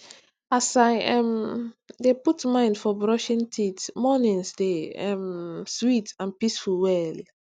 as i um dey put mind for brushing teeth mornings dey um sweet and peaceful well